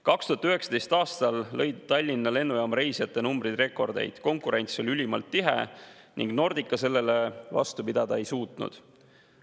2019. aastal lõid Tallinna Lennujaama reisijatenumbrid rekordeid, konkurents oli ülimalt tihe ning Nordica sellele vastu pidada ei suutnud.